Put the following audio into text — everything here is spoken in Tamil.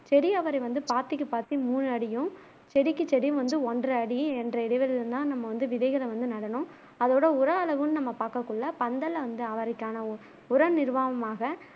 செடி அவரை வந்து பாத்திக்கு பாத்தி மூணு அடியும் செடிக்கு செடி வந்து ஒன்றை அடியும் ரெண்டறை இடைவெளியும் தான் நம்ம வந்து விதைகளை வந்து நடனும் அதோட உர அளவுனு நம்ம பாக்ககுள்ள பந்தல்ல வந்து அவரைக்கான உர நிவாரணமாக